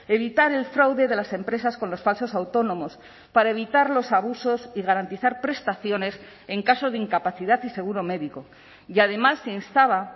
evitar el fraude de las empresas con los falsos autónomos para evitar los abusos y garantizar prestaciones en caso de incapacidad y seguro médico y además se instaba